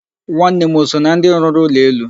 Nwanne m o so na ndị rụrụ ụlọ elu?